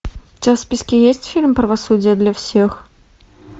у тебя в списке есть фильм правосудие для всех